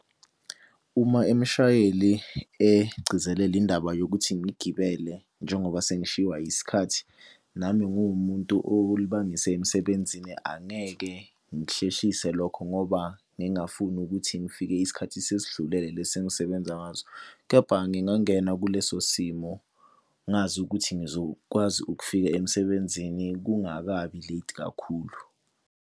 Uma imshayeli egcizelela indaba yokuthi ngigibele njengoba sengishiwa isikhathi, nami ngiwumuntu olibangise emsebenzini. Angeke ngihlehlise lokho ngoba ngingafuni ukuthi ngifike isikhathi sesidlulele lesi engisebenza ngaso. Kepha ngingangena kuleso simo ngazi ukuthi ngizokwazi ukufika emsebenzini kungakabi late kakhulu.